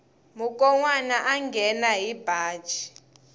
mukonwana a nghena hi baji